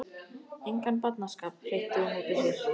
Engan barnaskap hreytti hún út úr sér.